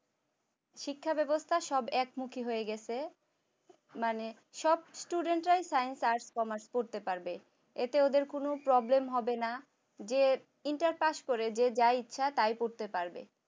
শিক্ষা ব্যবস্থা সব এক মুখী হয়ে গেছে। মানে সব student science arts commerce করতে পারবে এতে ওদের কোন problem হবে না entrepreneur করে যে যা ইচ্ছা তাই করতে পারবে